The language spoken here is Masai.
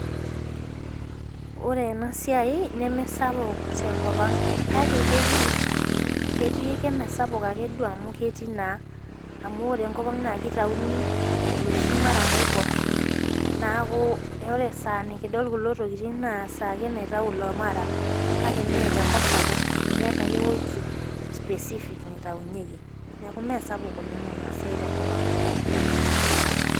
Ore ena siai nemesapuk tenkop ang' make ketii ketii emesapuk Ake duo amu keetai naa amu ore enkop ang' naa kitauni olosho murram oibor neeku ore edaa nikidol kulo tokitin naa esaa Ake naitayu ilo murram kale mee tenkop sapuk keeta ake eweji specific naitaunyeki neeku mee sapuk oleng' ena siai tee nkop ang'.